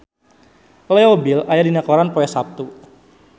Leo Bill aya dina koran poe Saptu